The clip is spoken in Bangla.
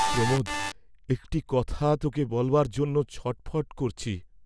প্রমোদ একটি কথা তোকে বলবার জন্য ছট্ ফট্ করছি।